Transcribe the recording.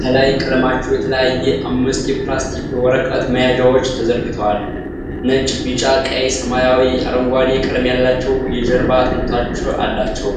ከላይ ቀለማቸው የተለያየ አምስት የፕላስቲክ ወረቀት መያዣዎች ተዘርግተዋል። ነጭ፣ ቢጫ፣ ቀይ፣ ሰማያዊና አረንጓዴ ቀለም ያላቸው የጀርባ አጥንቶች አሏቸው።